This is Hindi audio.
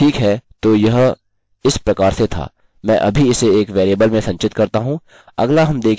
ठीक है तो यह इस प्रकार से था मैं अभी इसे एक वेरिएबल में संचित करता हूँ